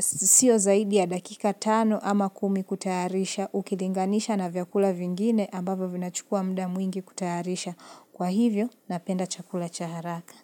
sio zaidi ya dakika tano ama kumi kutayarisha, ukilinganisha na vyakula vingine ambavyo vinachukua muda mwingi kutayarisha. Kwa hivyo, napenda chakula cha haraka.